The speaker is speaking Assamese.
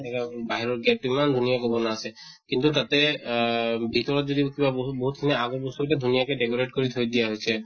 বাহিৰত gate ইমান ধুনীয়াকে বনা আছে কিন্তু তাতে আহ ভিতৰত যদি কিবা বহুত বহুত খিনি আগত বস্তু গিটা ধুনীয়াকে decorate কৰি তৈ দিয়া হৈছে।